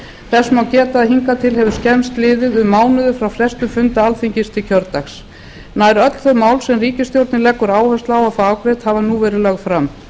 þess má geta að hingað til hefur skemmst liðið um mánuður frá frestun funda alþingis til kjördags nær öll þau mál sem ríkisstjórnin leggur áherslu á að fá afgreidd hafa verið lögð fram